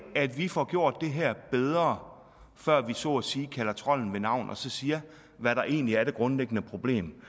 at vi får gjort det her bedre før vi så at sige kalder trolden ved navn og så siger hvad der egentlig er det grundlæggende problem